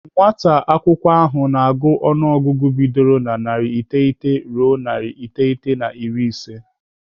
Nwata akwụkwọ ahụ na-agụ ọnụọgụgụ bidoro na narị iteghete ruo narị iteghete na iri ise.